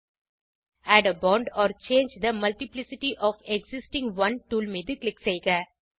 add a bond or change the multiplicity of existing one tool மீது click செய்க